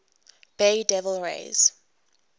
bay devil rays